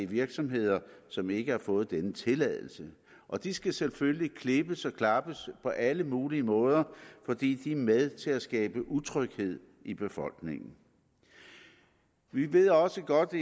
virksomheder som ikke har fået denne tilladelse og de skal selvfølgelig klippes og klappes på alle mulige måder for de er med til at skabe utryghed i befolkningen vi ved også godt at